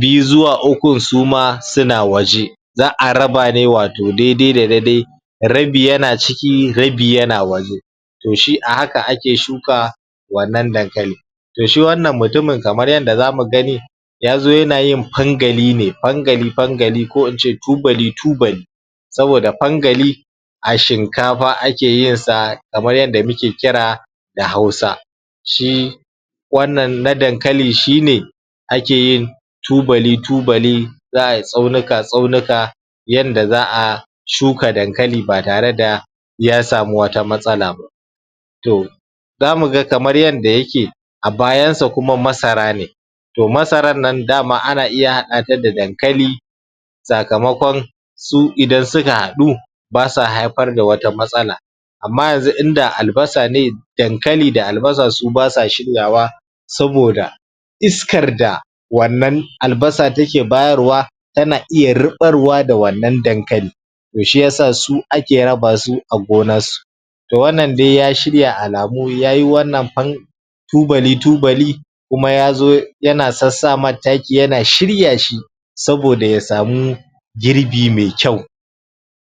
biyu zuwa ukun su ma suna waje za'a raba ne wato daidai da daidai rabi yana ciki rabi yana waje to shi a haka ake shuka wannan dankali to shi wannan mutumin kamar yanda zamu gani yazo yana yin pangali ne pangali pangali ko ince tubali tubali saboda pangali a shinkapa ake yin sa kamar yadda muke kira da hausa shi wannan na dankali shine ake yin tubali tubali za'ai tsaunuka tsaunuka yanda za'a shuka dankali ba tare da ya samu wata matsala ba to zamu ga kamar yanda yake a bayansa kuma masara ne to masaran nan dama ana iya haɗa ta da dankali sakamakon su idan suka haɗu ba sa haipar da wata matsala amma yanzu in da albasa ne dankali da albasa su basa shiryawa saboda iskar da wannan albasa take bayarwa tana iya riɓarwa da wannan dankali to shiyasa su ake raba su a gonar su to wannan de ya shirya alamu yayi wannan pan tubali tubali kuma yazo ya sassamar taki yana shirya shi saboda ya samu girbi mai kyau